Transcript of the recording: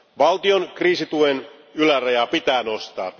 Valtion kriisituen ylärajaa pitää nostaa.